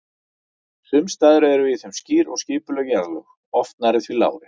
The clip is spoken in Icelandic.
Sums staðar eru í þeim skýr og skipuleg jarðlög, oft nærri því lárétt.